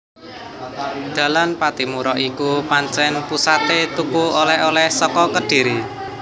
Dalan Pattimura iku pancen pusaté tuku oleh oleh saka Kedhiri